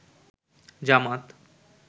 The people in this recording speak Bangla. জামাত